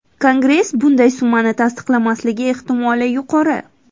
Kongress bunday summani tasdiqlamasligi ehtimoli yuqori.